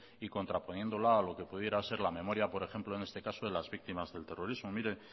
y contraponiéndola a lo que pudiera ser la memoria por ejemplo en este caso de las víctimas del terrorismo mire